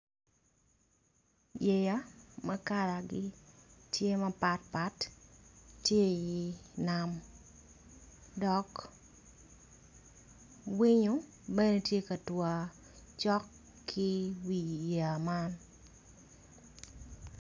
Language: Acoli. Yeya ma kalagi tye mapatpat ma gitye i nam dok winyo tye ka tuk cok ki wi yeya man